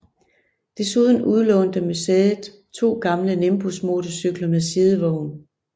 Desuden udlånte museet to gamle Nimbus motorcykler med sidevogn